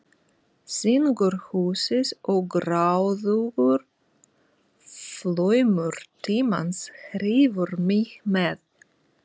Syngur húsið og gráðugur flaumur tímans hrífur mig með.